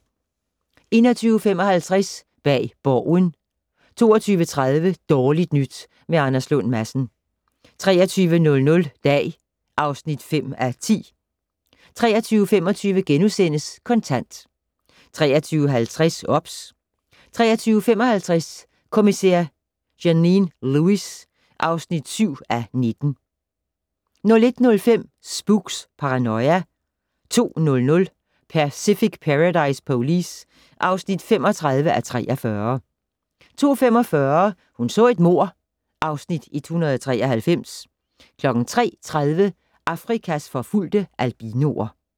21:55: Bag Borgen 22:30: Dårligt nyt med Anders Lund Madsen 23:00: Dag (5:10) 23:25: Kontant * 23:50: OBS 23:55: Kommissær Janine Lewis (7:19) 01:05: Spooks: Paranoia 02:00: Pacific Paradise Police (35:43) 02:45: Hun så et mord (Afs. 193) 03:30: Afrikas forfulgte albinoer